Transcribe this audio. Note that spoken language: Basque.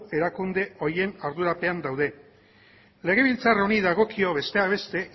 erakunde horien ardurapean daude legebiltzar honi dagokio besteak beste